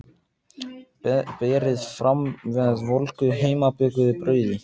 Berið fram með volgu heimabökuðu brauði.